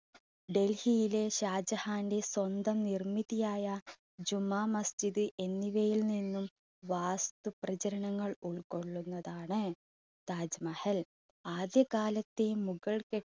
ഡൽഹിയിലെ ഷാജഹാന്റെ സ്വന്തം നിർമ്മിതിയായ ജുമാ മസ്ജിദ് എന്നിവയിൽ നിന്നും വാസ്തു പ്രചരണങ്ങൾ ഉൾക്കൊള്ളുന്നതാണ് താജ് മഹൽ. ആദ്യകാലത്തെ മുഗൾ കെ~